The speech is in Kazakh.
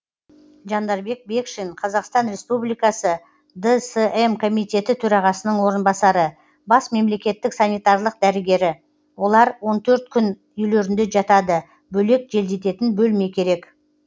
жандарбек бекшин қазақстан республикасы дсм комитеті төрағасының орынбасары бас мемлекеттік санитарлық дәрігері олар он төрт күн үйлерінде жатады бөлек желдететін бөлме керек